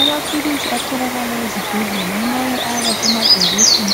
Amaphilisi atholakala ezibhedlela, amanye ayabe esemabhokisi,